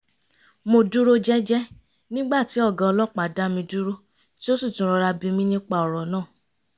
mo dúró jẹ́jẹ́ nígbà tí ọ̀gá ọlọ́pàá dá mi dúró tí ó sì tún rọ́ra bí mi nípa ọ̀rọ̀ náà